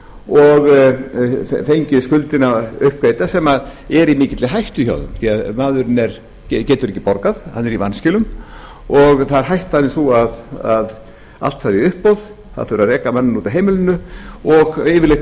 og fengu skuldina uppgreidda sem er í mikilli hættu hjá því því maðurinn getur ekki borgað hann er í vanskilum og hættan er sú að allt fari í uppboð það þurfi að reka manninn út af heimilinu og yfirleitt